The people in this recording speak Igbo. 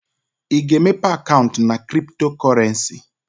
Ị ga-emepe akaụntụ na cryptocurrency?